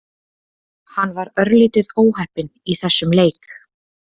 Hann var örlítið óheppinn í þessum leik.